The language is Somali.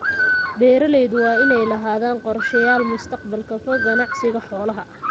Beeralaydu waa inay lahaadaan qorshayaal mustaqbalka fog ganacsiga xoolaha.